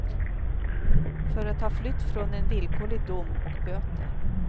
För att ha flytt från en villkorlig dom och böter.